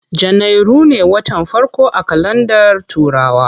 Janairu ne watan farko a kalandar turawa.